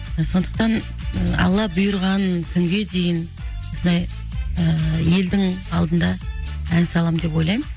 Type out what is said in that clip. сондықтан алла бұйырған күнге дейін осылай елдің алдында ән саламын деп ойлаймын